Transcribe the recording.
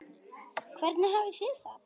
Hvernig hafið þið það?